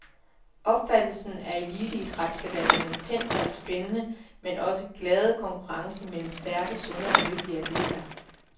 Opfattelsen af eliteidræt skal være den intense og spændende, men også glade konkurrence mellem stærke, sunde og lykkelige atleter.